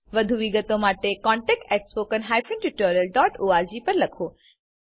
વધુ વિગતો માટે કૃપા કરી contactspoken tutorialorg પર લખો